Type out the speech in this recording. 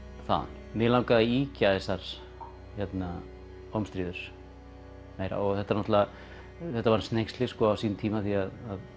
þaðan mig langaði að ýkja þessar ómstríður meira og þetta þetta var hneyksli á sínum tíma því